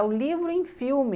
É o livro em filme.